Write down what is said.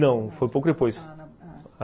Não, foi pouco depois.